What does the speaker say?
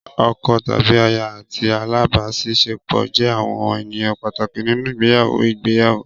Ọkọ tàbí aya àti alábàáṣiṣẹ́pọ̀ jẹ́ àwọn ènìyàn pàtàkì nínú ìgbéyàwó ìgbéyàwó.